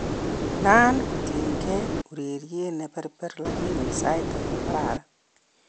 Naan kotinde ureriet ne berber lakini sait age kokararan